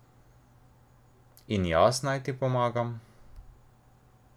In jaz naj ti pomagam?